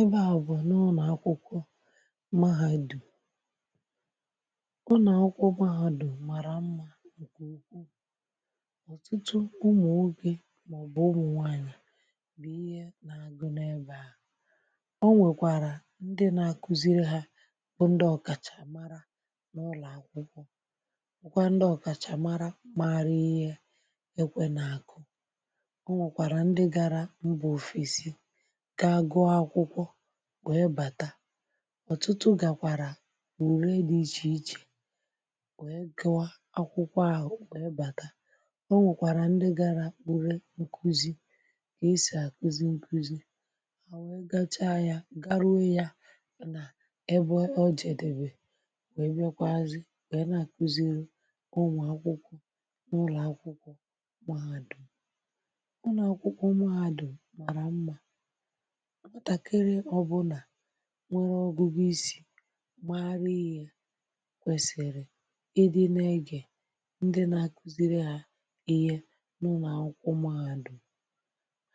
ebe à bụ̀ n’ụlọ̀ akwụkwọ mahàdùm ụnọ̀ akwụkwọ mahadum màrà mmȧ ǹkè ukwu ọ̀tụtụ ụmụ̀ nwoke màọ̀bụ̀ ụmụ̀ nwanyị bụ̀ ihe nà-àgụ nebàa o nwèkwàrà ndị nȧ-àkụziri hȧ bụ ndị ọ̀kàchà mara n’ụlọ̀ àkwụkwọ bụkwa ndị ọ̀kàchà mara mara ihe ekwe nà àkụ o nwèkwàrà ndị gȧrȧ mbà ofesi ga gụọ akwụkwọ wee bàtà ọ̀tụtụ gàkwàrà ore di ichèichè wee gụa akwụkwọ ahụ̀ wee bàtà o nwèkwàrà ndị gara ure nkụzi kà esì àkụzi nkụzi à wee gacha ya garuo ya nà ebe ọ jèdèbè wee bịakwazị wee nà àkụziri ụmụakwụkwọ n’ụlọ̀ akwụkwọ mahàdum ụnọ akwụkwọ mahadum màrà mmà nwatakịrị ọ bụla nwere ọgụgụ isi̇ mara ihe kwèsịrị ịdị n’egè ndị nà-akụziri à ihe n’ụlọ̀ akwụkwọ mahadum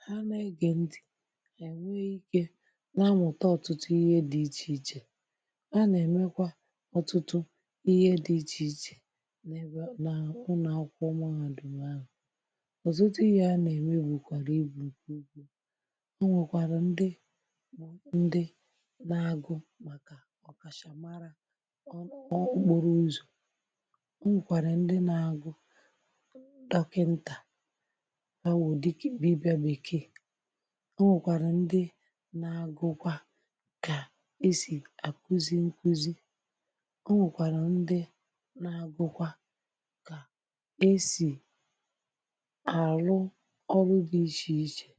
ha n’egè ntị ha nwee ikė nà-amụ̀ta ọ̀tụtụ ihe dị ichèichè a nà-èmekwa ọtụtụ ihe dị ichèichè n’ebe a na ụnọakwụkwọ mahadum ahụ ọ̀tụtụ ihe a nà-ẹ̀me bùkwàrà ibu̇ nke ukwuu ọ nwekwara ndị na-agụ̀ màkà ọ̀kàchà mara ọ okporo ụzọ̀ o nwèkwàrà ndi na-agụ̀ dọkịnta awụ̀ dikì dibịa bèkeè o nwèkwàrà ndị na-agụkwa kà e sì àkụzi nkụzi o nwèkwàrà ndi na-agụkwa kà e sì àrụ ọrụ dị ichèichè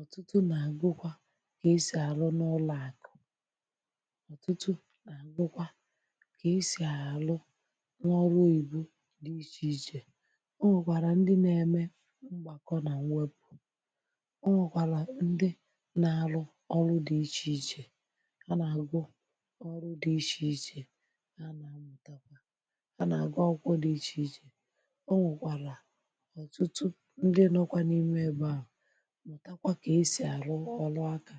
ọ̀tụtụ nà-àgwụkwa kà esì àlụ n’ụlọakụ ọtụtụ na-agụkwa ka esi alụ n’ọrụ oyibo dị ichèichè o nwèkwàrà ndị nȧ-ėmė mgbàkọ nà nwepụ̀ ọ nwèkwàrà ndị nà-arụ ọrụ di ichèichè a nà-àgwụ ọrụ di ichèichè a nà-amụ̀takwa a nà-àgụ akwụkwọ dị ichèichè o nwèkwàrà ọ̀tụtụ ndị nọkwa n’ime ebe à mụtakwa ka esi alụ ọlụ aka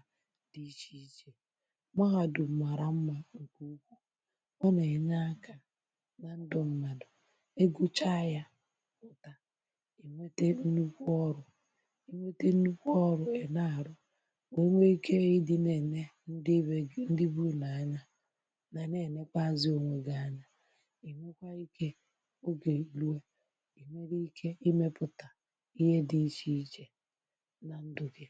dị iche iche mahàdu̇m mara mmȧ ọ nà-ènye akȧ na ndụ mmadụ̀ ịgụchàa ya pụ̀ta ìnwete nnukwu ọrụ̇ ìnwete nnukwu ọrụ̇ è na-àrụ wee nwee ike ịdị n’ène ndị be gị ndị bunu anya nà na-ènekweazị ònwe gị anya ìnwekwa ikė ogè èrue ìnwere ike imepụ̀tà ihe dị ichè ichè na ndụ gị